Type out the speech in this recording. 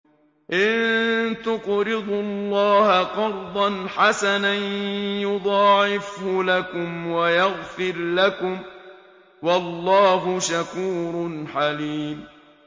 إِن تُقْرِضُوا اللَّهَ قَرْضًا حَسَنًا يُضَاعِفْهُ لَكُمْ وَيَغْفِرْ لَكُمْ ۚ وَاللَّهُ شَكُورٌ حَلِيمٌ